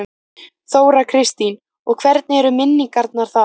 Þóra Kristín: Og hvernig eru minningarnar þaðan?